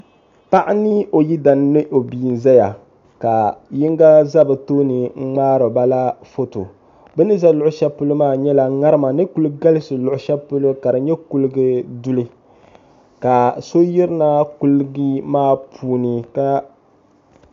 paɣa ni o yidana ni o bia zaya ka yiŋga za bɛ tooni n-ŋmaari ba la foto bɛ ni za luɣishɛli polo maa nyɛla ŋarima ni kuli galisi luɣishɛli polo ka di nyɛ kuliga duli ka so yirina kuliga maa puuni